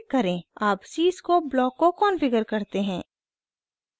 अब cscope block को configure करते हैं